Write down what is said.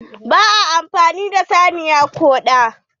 Ba a amfani da saniya kuɓa.